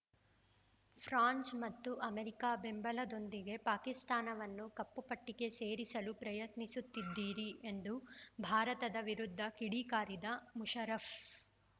France ಮತ್ತು America ಬೆಂಬಲದೊಂದಿಗೆ ಪಾಕಿಸ್ತಾನವನ್ನು ಕಪ್ಪುಪಟ್ಟಿಗೆ ಸೇರಿಸಲು ಪ್ರಯತ್ನಿಸುತ್ತಿದ್ದೀರಿ ಎಂದು ಭಾರತದ ವಿರುದ್ಧ ಕಿಡಿಕಾರಿದ ಮುಷರಫ್